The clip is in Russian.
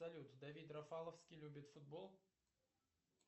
салют давид рафаловский любит футбол